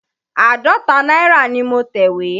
Àádọ́ta náírà ni mo tẹ̀wé.